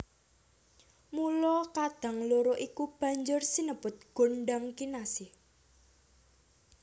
Mula kadang loro iku banjur sinebut gondhang kinasih